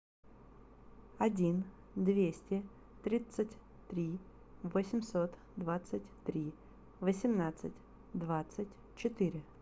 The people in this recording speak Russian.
один двести тридцать три восемьсот двадцать три восемнадцать двадцать четыре